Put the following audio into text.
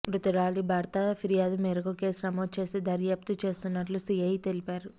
మృతురాలి భర్త ఫిర్యాదు మేరకు కేసు నమోదు చేసి దర్యాప్తు చేస్తున్నట్లు సీఐ తెలిపారు